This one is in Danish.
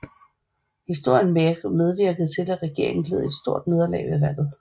Historien medvirkede til at regeringen led et stort nederlag ved valget